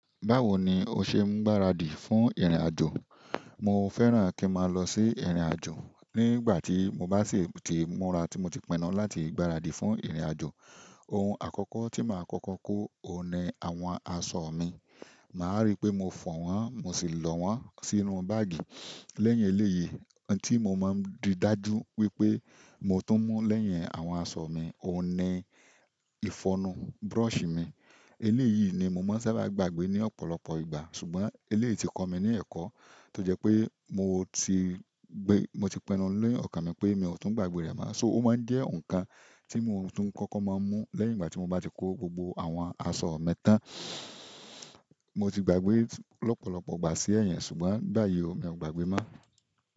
Báwo ni o ṣe ń gbáradì fún ìrìnàjò? Mo fẹ́ràn kí n máa lọ sí ìrìnàjò. Nígbà tí mo bá sì ti múra tí mo ti pinu láti gbaradì fún ìrìnàjò, ohun àkọ́kọ́ tí màá kọ́kọ́ kó òní àwọn aṣọ mi. Màá rí pé mo fọ̀ wọ́n, mo sì lọ wọ́n sínú báágì. Lẹ́yìn eléyìí, ohun tí mo máa ń di dájú wípé mo tún mú lẹ́yìn àwọn aṣọ mi òní ìfọnu, búrọ̀ṣì mi. Eléyìí ni mo máa ń sábà gbàgbé ní ọ̀pọ̀lọpọ̀ ìgbà. Ṣùgbọ́n eléyìí ti kọ mí ní ẹ̀kọ́ tó jẹ́ pé mo ti gbé, mo ti pinu ni ọ̀kàn mi pé mi ò tún gbàgbé rẹ̀ mọ́. So ó máa ń jẹ́ nǹkan tí mo tún kọ́kọ́ máa ń mú lẹ́yìn ìgbà tí mo bá ti kó gbogbo àwọn aṣọ mi tán. Mo ti gbàgbé lọ́pọ̀lọpọ̀ ìgbà sí ẹ̀yin, ṣùgbọ́n báyìí mi ò gbàgbé mọ́.